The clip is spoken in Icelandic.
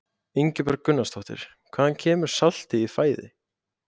Ingibjörg Gunnarsdóttir: Hvaðan kemur saltið í fæði?